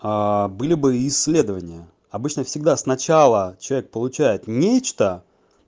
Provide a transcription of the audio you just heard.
а были бы исследования обычно всегда сначала человек получает нечто